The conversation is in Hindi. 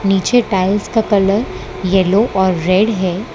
नीचे टाइल्स का कलर येलो और रेड हैं।